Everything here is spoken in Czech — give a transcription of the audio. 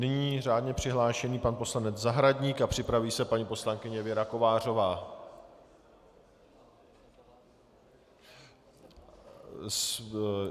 Nyní řádně přihlášený pan poslanec Zahradník a připraví se paní poslankyně Věra Kovářová.